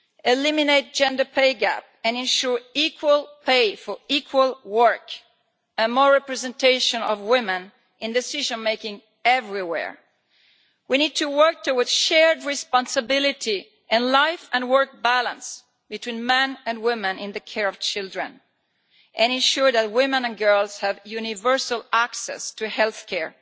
eliminate the gender pay gap and ensure equal pay for equal work and more representation of women in decision making everywhere. We need to work towards shared responsibility, a life and work balance between men and women in the care of children, and ensure that women and girls have universal access to health care,